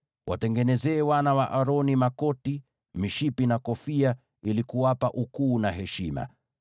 Watengenezee wana wa Aroni makoti, mishipi na kofia, ili kuwapa ukuu na heshima.